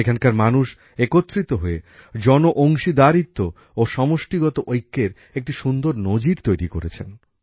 এখানকার মানুষ একত্রিত হয়ে জনঅংশীদারিত্ব ও সমষ্টিগত ঐক্যের একটা সুন্দর নজির তৈরি করেছেন